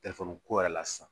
ko yɛrɛ la sisan